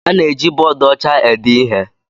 A na-eji bọọdụ ọcha ede ihe.